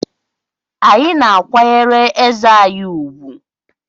Anyị na-akwanyere eze anyị ùgwù